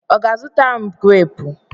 Ọ ga-azụtara m greepu?